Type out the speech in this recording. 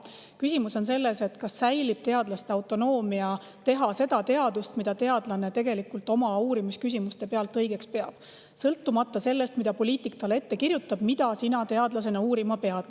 Küsimus on selles, kas säilib teadlase autonoomia teha teadust, mida teadlane oma uurimisküsimuste põhjal õigeks peab, sõltumata sellest, kas poliitik kirjutab talle ette, mida ta teadlasena uurima peab.